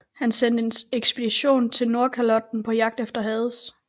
Han sendte en ekspedition til Nordkalotten på jagt efter Hades